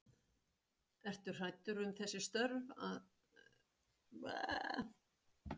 Ertu hræddur um þessi störf að, ertu hræddur um þau?